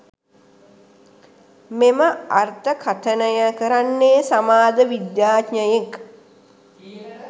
මෙම අර්ථකථනය කරන්නේ සමාජ විද්‍යාඥයෙක්